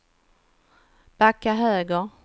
backa höger